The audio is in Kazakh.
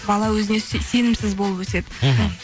бала өзіне сенімсіз болып өседі мхм